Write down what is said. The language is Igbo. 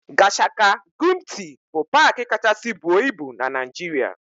Gashaka-Gumti bụ paaki kachasị buo ibu na Naịjirịa.